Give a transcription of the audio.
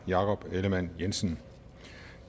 jakob ellemann jensen